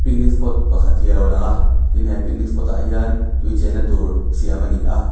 picnic spot pakhat hi a lo lang a tin he picnic spot ah hian tui chenna tur siam a ni a.